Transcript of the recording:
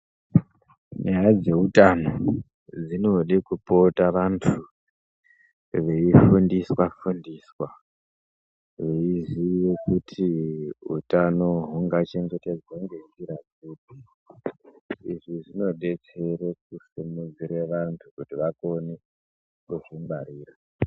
Nyaya dzeutano dzinode kupota vantu veifundiswa fundiswa veizive kuti utano hungachengetedzwa ngenzira dzipi, izvi zvinodetsere kusimudzire vantu kuti vagone kuzvingwarira.